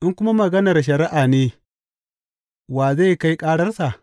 In kuma maganar shari’a ne, wa zai kai kararsa?